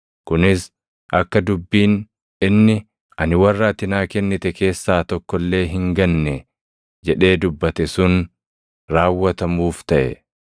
Kunis akka dubbiin inni, “Ani warra ati naa kennite keessaa tokko illee hin ganne” + 18:9 \+xt Yoh 6:39\+xt* jedhee dubbate sun raawwatamuuf taʼe.